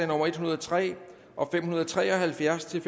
nummer en hundrede og tre og fem hundrede og tre og halvfjerds til